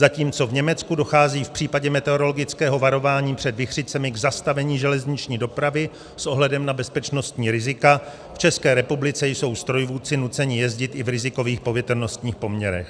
Zatímco v Německu dochází v případě meteorologického varování před vichřicemi k zastavení železniční dopravy s ohledem na bezpečnostní rizika, v České republice jsou strojvůdci nuceni jezdit i v rizikových povětrnostních poměrech.